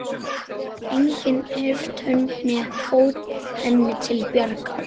Enginn hreyft hönd né fót henni til bjargar.